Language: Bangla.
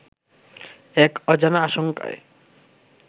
এক অজানা আশঙ্কায়